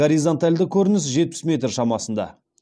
горизонталды көрініс жетпіс метр шамасында